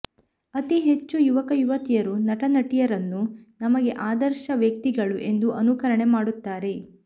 ಅತಿ ಹೆಚ್ಚು ಯುವಕ ಯುವತಿಯರು ನಟ ನಟಿಯರನ್ನು ನಮಗೆ ಆದರ್ಶದ ವ್ಯಕ್ತಿ ಗಳು ಎಂದು ಅನುಕರಣೆ ಮಾಡುತ್ತಾರೆ